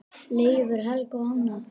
Leifur, Helga og Hanna.